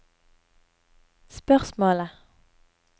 spørsmålet